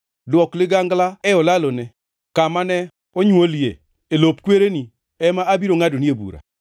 “ ‘Dwok ligangla e olalone. Kama ne onywolie, e lop kwereni, ema abiro ngʼadonie bura.